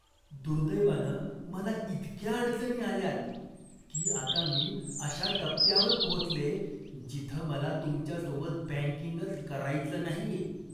दुर्दैवानं मला इतक्या अडचणी आल्यात की आता मी अशा टप्प्यावर पोहोचलेय जिथं मला तुमच्यासोबत बँकिंगच करायचं नाहीये.